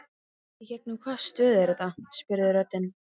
Í gegnum hvaða stöð er það? spurði röddin.